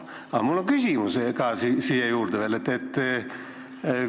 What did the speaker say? Aga mul on siia juurde küsimus.